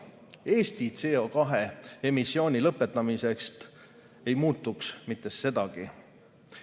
Eesti CO2 emissiooni lõpetamisest ei muutuks sedagi.